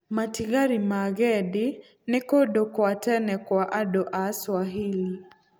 Matigari ma Gedi nĩ kũndũ kwa tene kwa andũ a Swahili.